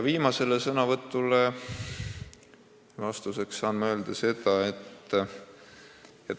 Viimasele sõnavõtule vastuseks saan öelda seda.